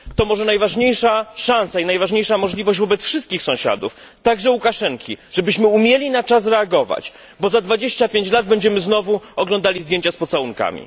Jest to może najważniejsza szansa i najważniejsza możliwość wobec wszystkich sąsiadów, także Łukaszenki. Chodzi o to, żebyśmy umieli na czas reagować, bo za 25 lat będziemy znowu oglądali zdjęcia z pocałunkami.